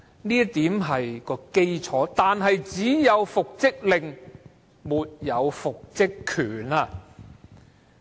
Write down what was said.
這點是基礎，但只有復職令，沒有復職權。